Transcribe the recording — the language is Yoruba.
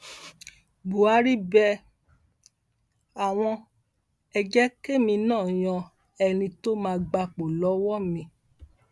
buhari bẹ àwọn e jẹ kémi náà yan ẹni tó máa gbapò lọwọ mi